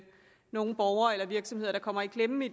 nogle borgere eller virksomheder der kommer i klemme